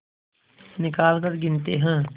निकालकर गिनते हैं